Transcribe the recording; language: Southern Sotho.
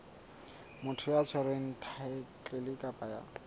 motho ya tshwereng thaetlele kapa